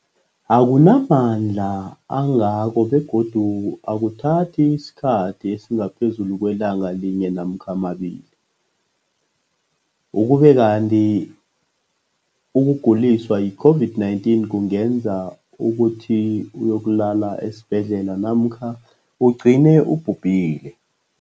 akuna mandla angako begodu akuthathi isikhathi esingaphezulu kwelanga linye namkha mabili, ukube kanti ukuguliswa yi-COVID-19 kungenza ukuthi uyokulala esibhedlela namkha ugcine ubhubhile.